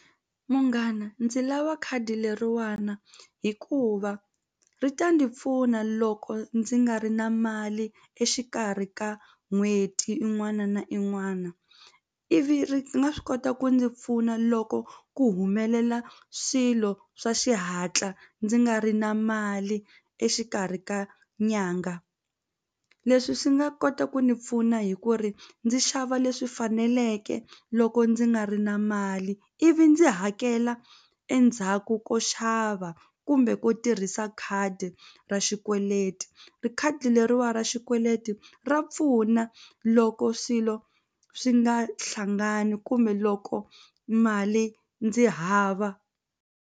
Munghana ndzi lava khadi leriwana hikuva ri ta ndzi pfuna loko ndzi nga ri na mali exikarhi ka n'hweti y\in'wana na in'wana ivi ri nga swi kota ku ndzi pfuna loko ku humelela swilo swa xihatla ndzi nga ri na mali exikarhi ka nyanga leswi swi nga kota ku ni pfuna hi ku ri ndzi xava leswi faneleke loko ndzi nga ri na mali ivi ndzi hakela endzhaku ko xava kumbe ku tirhisa khadi ra xikweleti khadi leriwani ra xikweleti ra pfuna loko swilo swi nga hlangani kumbe loko mali ndzi hava.